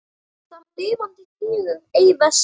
Þar lifandi hnígur ei vessi.